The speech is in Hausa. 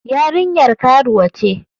Yarinyar karuwa ce.